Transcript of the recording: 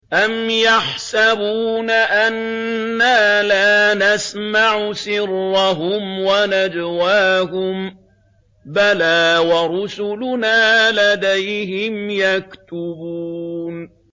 أَمْ يَحْسَبُونَ أَنَّا لَا نَسْمَعُ سِرَّهُمْ وَنَجْوَاهُم ۚ بَلَىٰ وَرُسُلُنَا لَدَيْهِمْ يَكْتُبُونَ